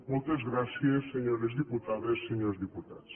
moltes gràcies senyores diputades senyors diputats